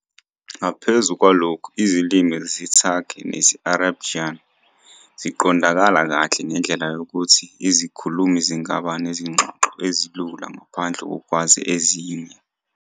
Ngaphezu kwalokho, izilimi zesiTurkey nesi-Azerbaijani ziqondakala kahle ngendlela yokuthi izikhulumi zingaba nezingxoxo ezilula ngaphandle kokwazi ezinye.